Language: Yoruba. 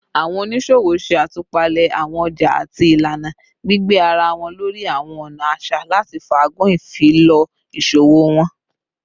Awọn oniṣowo ṣe atupale awọn ọja ati ilana, gbigbe ara wọn lori awọn ọna aṣa lati faagun ifilọ iṣowo wọn